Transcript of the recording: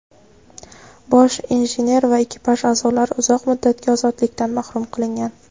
bosh injener va ekipaj a’zolari uzoq muddatga ozodlikdan mahrum qilingan.